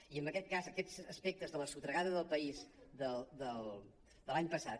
i en aquest cas aquests aspectes de la sotragada del país de l’any passat